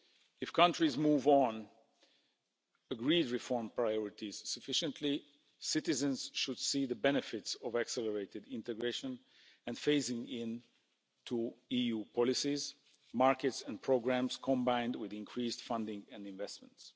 If countries move on agreed reform priorities sufficiently, citizens should see the benefits of accelerated integration and phasing into EU policies, markets and programmes, combined with increased funding and investments.